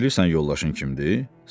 Bilirsən yoldaşın kimdir?